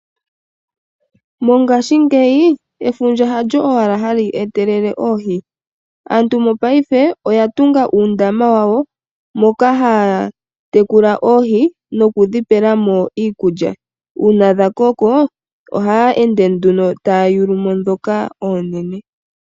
Mongashingeyi, efundja halyo owala hali etelele oohi. Aantu mopaife oya tunga uundama wawo, moka haa tekula oohi, nokudhi pela mo iikulya. Uuna dha koko, ohaa ende nduno taa yulamo dhoka oonene.